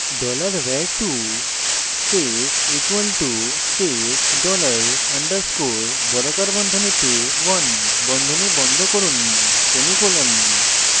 $var2 space = space dollar $ underscore বর্গাকার বন্ধনীতে 1 বন্ধনী বন্ধ করুন semicolon